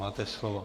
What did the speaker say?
Máte slovo.